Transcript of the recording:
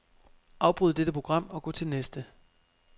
Afbryd dette program og gå til næste.